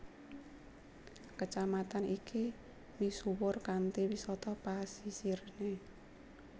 Kecamatan iki misuwur kanthi wisata pasisirné